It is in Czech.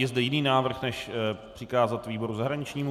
Je zde jiný návrh než přikázat výboru zahraničnímu?